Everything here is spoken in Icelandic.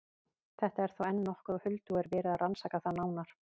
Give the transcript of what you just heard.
Þetta er þó enn nokkuð á huldu og er verið að rannsaka það nánar.